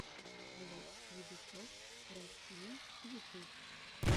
влог юбисофт россия ютюб